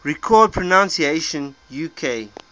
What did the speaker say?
recorded pronunciations uk